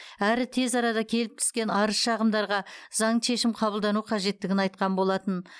әрі тез арада келіп түскен арыз шағымдарға заңды шешім қабылдану қажеттігін айтқан болатын